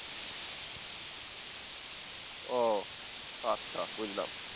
ও আচ্ছা বুঝলাম